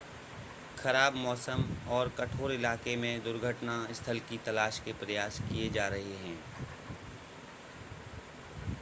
खराब मौसम और कठोर इलाकेे में दुर्घटना स्थल की तलाश के प्रयास किए जा रहे हैं